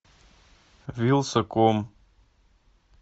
вилсаком